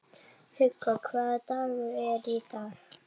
Hugó, hvaða dagur er í dag?